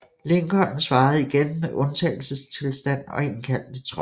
Lincoln svarede igen med undtagelsestilstand og indkaldte tropper